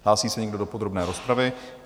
Hlásí se někdo do podrobné rozpravy?